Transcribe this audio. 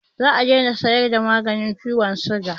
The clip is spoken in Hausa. Zamu dai na siyar da maganin ciwon siga